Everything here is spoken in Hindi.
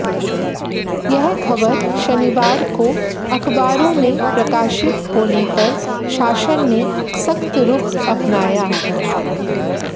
यह खबर शनिवार को अखबारों में प्रकाशित होने पर शासन ने सख्त रुख अपनाया